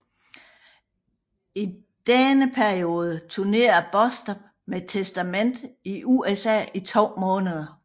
I denne periode turnerede Bostaph med Testament i USA i to måneder